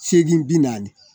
Seegin bi naani